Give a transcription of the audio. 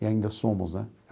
E ainda somos, né?